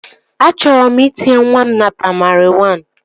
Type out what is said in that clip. Achọrọ m itinye nwa m na praimarị wan